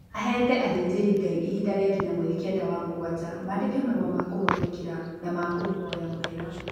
Avetee athĩnjĩri Ngai ivinda rĩa nginya mweri kenda wa mugwanja mandĩke marũa ma kũmwathĩkĩra na ma kũvoya mũvera